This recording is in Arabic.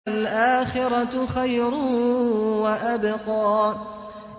وَالْآخِرَةُ خَيْرٌ وَأَبْقَىٰ